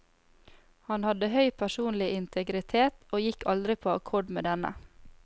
Han hadde høy personlig integritet, og gikk aldri på akkord med denne.